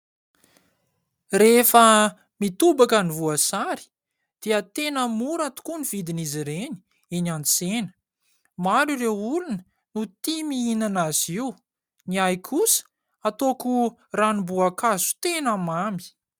Rehefa mitobaka ny voasary dia tena mora tokoa ny vidin'izy reny eny an-tsena. Maro ireo olona no tia mihinana azy io, ny ahy kosa ataoko ranomboakazo tena mamy.